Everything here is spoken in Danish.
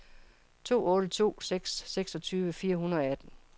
to otte to seks seksogtyve fire hundrede og atten